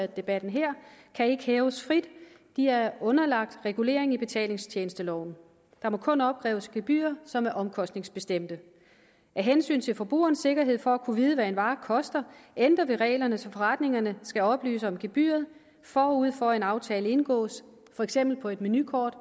debatten her kan ikke hæves frit de er underlagt regulering i betalingstjenesteloven der må kun opkræves gebyrer som er omkostningsbestemte af hensyn til forbrugernes sikkerhed for at kunne vide hvad en vare koster ændrer vi reglerne så forretningerne skal oplyse om gebyret forud for at en aftale indgås for eksempel på et menukort